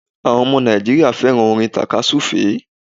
Áwon omo Nàìjíríà féràn orin tàka súfè é